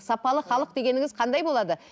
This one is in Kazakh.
сапалы халық дегеніңіз қандай болады